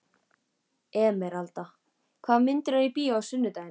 Emeralda, hvaða myndir eru í bíó á sunnudaginn?